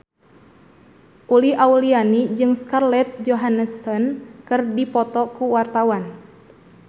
Uli Auliani jeung Scarlett Johansson keur dipoto ku wartawan